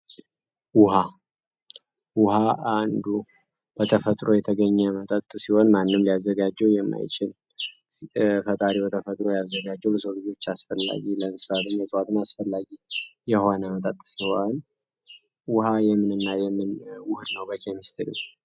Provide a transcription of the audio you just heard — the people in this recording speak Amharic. ወሃ ውሃ አንዱ በተፈጥሮ የተገኘ መጠጥ ሲሆን ማንም ሊያዘጋጀው የማይችን ፈጣሪ በተፈጥሮ ያያዘጋጀው ለሰግዞች አስፈላጊ ለንሳልም የጠዋጥም አስፈላጊ የሆነ መጠጥ ሆን ውሃ የምንና የምን ውህድ ነው፡፡ በኬሚስትሪው..........